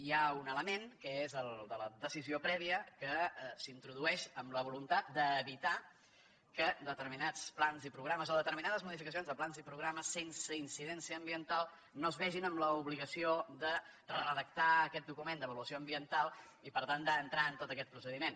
hi ha un element que és el de la decisió prèvia que s’introdueix amb la voluntat d’evitar que determinats plans i programes o determinades modificacions de plans i programes sense incidència ambiental no es vegin en l’obligació de redactar aquest document d’avaluació ambiental i per tant d’entrar en tot aquest procediment